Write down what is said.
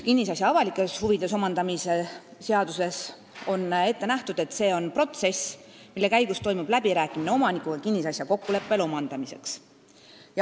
Kinnisasja avalikes huvides omandamise seaduses on ette nähtud, et see on protsess, mille käigus toimub läbirääkimine omanikuga kinnisasja kokkuleppel omandamiseks.